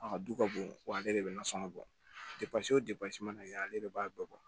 A ka du ka bon wa ale de bɛ nasɔngɔ bɔ o depase mana kɛ ale de b'a bɛɛ bɔ